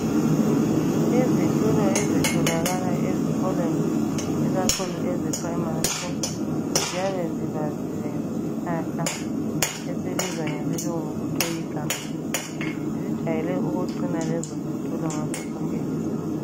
Izithulo ezitholakala ezikolweni ikakhulu eze primary school .Ziyabe zibaziwe ngesihlahla esibizwa ngesilungu kuthiwe yiGumtree. zijwayele ukuqina lezo zithulo ngaso sonke isikhathi.